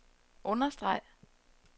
understreg